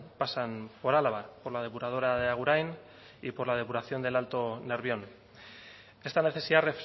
pasan por álava por la depuradora de agurain y por la depuración del alto nervión esta necesidad